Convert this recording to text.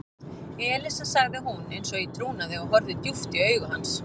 Elísa sagði hún eins og í trúnaði og horfði djúpt í augu hans.